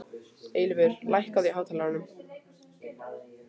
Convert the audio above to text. Eilífur, lækkaðu í hátalaranum.